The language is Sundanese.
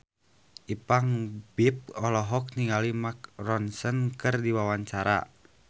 Ipank BIP olohok ningali Mark Ronson keur diwawancara